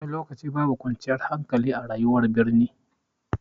Wani lokaci babu kwanciyar hankali a rayuwar birni.